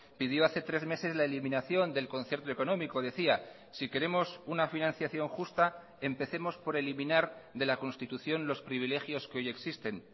pidió hace tres meses la eliminación del concierto económico decía si queremos una financiación justa empecemos por eliminar de la constitución los privilegios que hoy existen